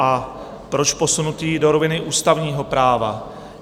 A proč posunutý do roviny ústavního práva?